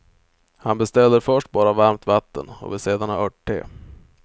Han beställer först bara varmt vatten och vill sedan ha örtte.